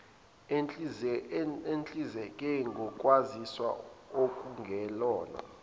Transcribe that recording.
ehlinzeke ngokwaziswa okungelona